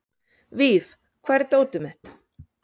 Víf, hvar er dótið mitt?